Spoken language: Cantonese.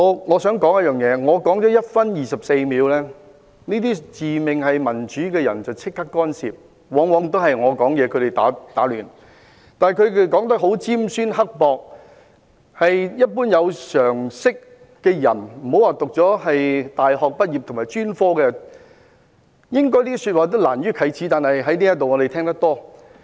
我想指出一點，我發言了1分24秒，這些自命民主的人便立即干涉，往往在我發言期間打亂我，但他們說得很尖酸刻薄的一些說話，對於一般有常識的人，且不說大學或專科畢業的人，也難於啟齒，我們卻經常在這裏聽到。